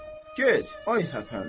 Get, ay həpənd.